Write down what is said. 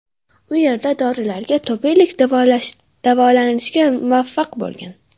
U yerda dorilarga tobelikdan davolanishga muvaffaq bo‘lgan.